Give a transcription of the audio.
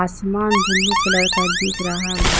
आसमान blue colour का दिख रहा--